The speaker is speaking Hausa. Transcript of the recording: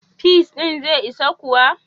Peas ɗin zai isa kuwa?